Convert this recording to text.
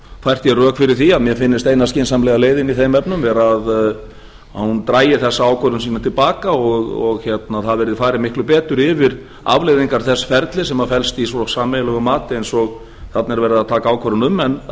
hef fært rök fyrir því að mér finnst eina skynsamlega leiðin í þeim efnum vera að hún dragi þessa ákvörðun sína til baka og það verði farið miklu betur yfir afleiðingar þess ferils sem felst í svo sameiginlegu mati eins og þarna er verið að taka ákvörðun um en